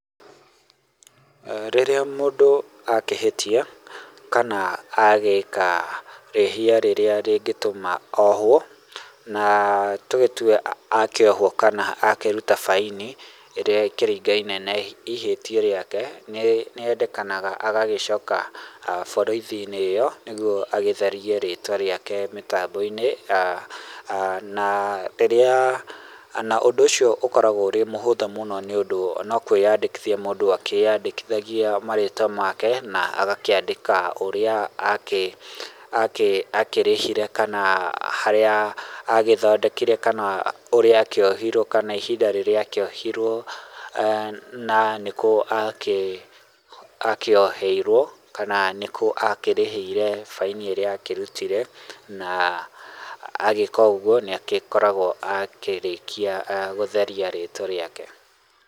Rĩrĩa mũndũ akĩhĩtia kana agĩka rĩhia rĩrĩa rĩngĩtũma ohwo na nĩ tũgĩtue akĩhwo kana akĩruta baini ĩrĩa ĩkĩringa-inĩ na ihetia rĩake, nĩ endekanaga agagĩcoka borithi-inĩ ĩyo nĩguo agĩtherie rĩtwa rĩake mĩtambo-inĩ na rĩrĩa na ũndũ ũcio ũkoragwo ũrĩ mũhũthũ mũno nĩ ũndũ no kwĩyandĩkithia mũndũ akĩyandĩkithagia marĩtwa make na agakĩandĩka ũrĩa akĩ akĩrĩhire kana harĩa agĩthondekire kana ũrĩa akĩohirwo kana ihinda rĩrĩa akĩohirwo na nĩkũ akĩoheirwo kana nĩkũ akĩrĩhĩire baini ĩrĩa akĩrutire na agĩka ũguo nĩ agĩkoragwo akĩrĩkia gũtheria rĩtwa rĩake.